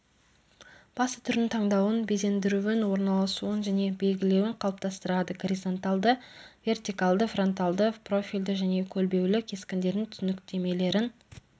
басты түрдің таңдауын безендіруін орналасуын және белгілеуін қалыптастырады горизонталды вертикалды фронталды профильді және көлбеулі кескіндердің түсініктемелерін